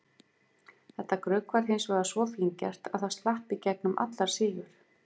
Þetta grugg var hins vegar svo fíngert að það slapp í gegnum allar síur.